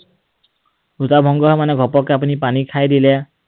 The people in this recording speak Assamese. ৰোজা ভঙ্গ হয় মানে, ঘপককৈ আপুনি পানী খাই দিলে